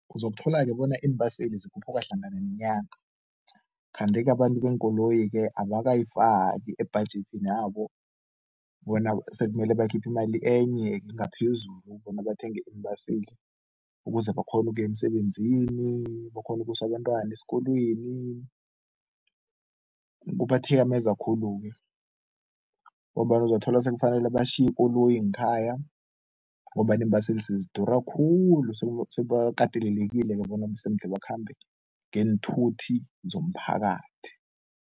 Uzokuthola-ke bona iimbaseli zikhuphuka hlangana nenyanga kanti-ke abantu beenkoloyi-ke abakayifaki ebhajethini yabo bona sekumele bakhiphe imali enye ngaphezulu bona bathenge iimbaseli ukuze bakghone ukuya emsebenzini, bakghone ukusa abentwana esikolweni, kubathikameza khulu-ke ngombana uzothola sekufanele batjhiye ikoloyi ngekhaya ngombana iimbaseli sezidura khulu sebakatelelekile bona bese mude bakhambe ngeenthuthi zomphakathi.